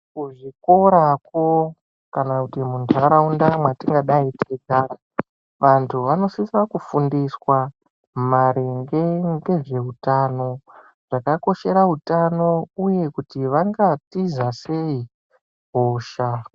Kuzvikorako kana kuti muntaraunda mwatingadai teigara vantu vanosisa kufundiswa maringe ngezveutano zvakakoshera utano uye kuti vangatiza sei hosha.